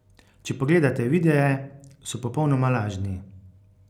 Če pogledate videe, so popolnoma lažni.